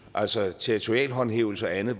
altså territorial håndhævelse og andet